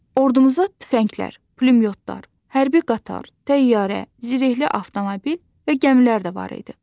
Ordumuza tüfənglər, pulemyotlar, hərbi qatar, təyyarə, zirehli avtomobil və gəmilər də var idi.